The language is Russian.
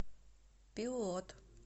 пилот